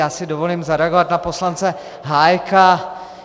Já si dovolím zareagovat na poslance Hájka.